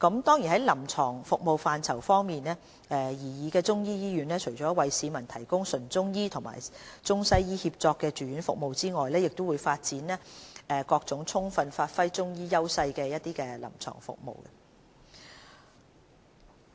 在臨床服務範疇方面，擬議的中醫醫院除了為市民提供中醫和中西醫協作方面的住院服務外，亦會發展各種充分發揮中醫藥優勢的臨床服務。